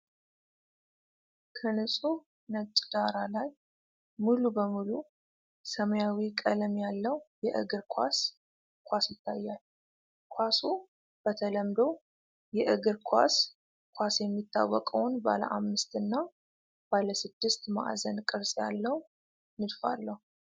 ከንጹሕ ነጭ ዳራ ላይ ሙሉ በሙሉ ሰማያዊ ቀለም ያለው የእግር ኳስ ኳስ ይታያል። ኳሱ በተለምዶ የእግር ኳስ ኳስ የሚታወቀውን ባለ አምስት እና ባለ ስድስት ማዕዘን ቅርፅ ያለው ንድፍ አለው።